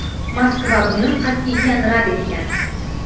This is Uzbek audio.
Moskva buni qat’iyan rad etgan.